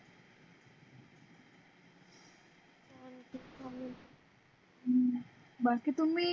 अं बाकी तुम्ही